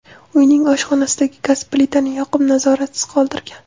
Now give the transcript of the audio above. uyining oshxonasidagi gaz plitani yoqib, nazoratsiz qoldirgan.